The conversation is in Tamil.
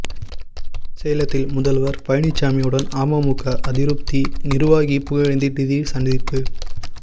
சேலத்தில் முதல்வர் பழனிசாமியுடன் அமமுக அதிருப்தி நிர்வாகி புகழேந்தி திடீர் சந்திப்பு